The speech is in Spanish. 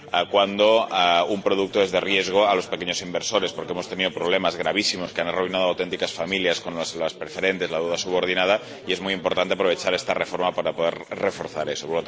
cuándo un producto es de riesgo para los pequeños inversores, porque hemos tenido problemas gravísimos, que han arruinado auténticas familias, como las preferentes y la deuda subordinada, y es muy importante aprovechar esta reforma para poder reforzar eso.